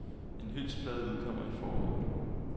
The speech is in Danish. En hyldestplade udkommer i foråret.